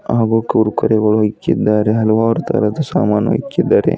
ಹಾಗು ಕುರ್ಕುರೆ ಗಳು ಇಕ್ಕಿದ್ದಾರೆ ಹಲವಾರು ತರಹದ ಸಾಮಾನು ಇಕ್ಕಿದ್ದಾರೆ.